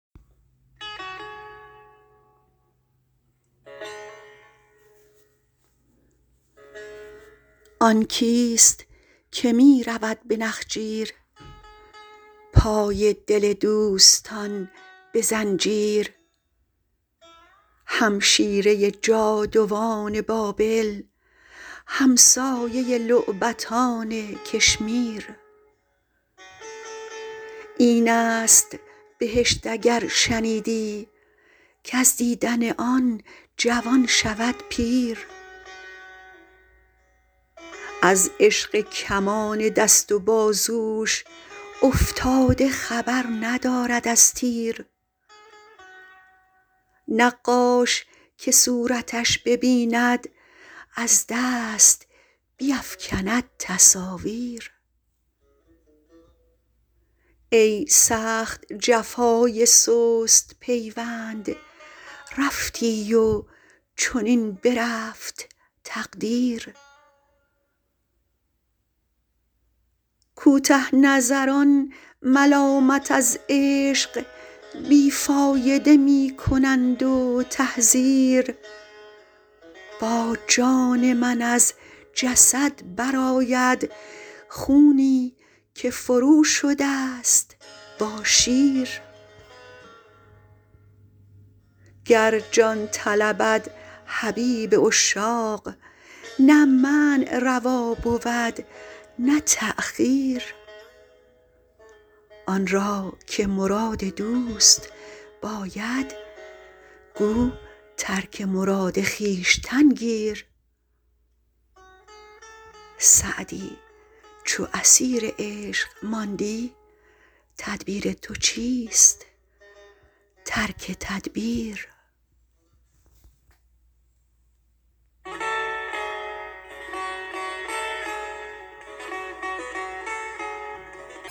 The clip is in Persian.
آن کیست که می رود به نخجیر پای دل دوستان به زنجیر همشیره جادوان بابل همسایه لعبتان کشمیر این است بهشت اگر شنیدی کز دیدن آن جوان شود پیر از عشق کمان دست و بازوش افتاده خبر ندارد از تیر نقاش که صورتش ببیند از دست بیفکند تصاویر ای سخت جفای سست پیوند رفتی و چنین برفت تقدیر کوته نظران ملامت از عشق بی فایده می کنند و تحذیر با جان من از جسد برآید خونی که فروشده ست با شیر گر جان طلبد حبیب عشاق نه منع روا بود نه تأخیر آن را که مراد دوست باید گو ترک مراد خویشتن گیر سعدی چو اسیر عشق ماندی تدبیر تو چیست ترک تدبیر